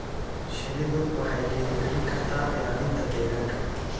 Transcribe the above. Shinnidu waxay dhiirigelin kartaa ilaalinta deegaanka.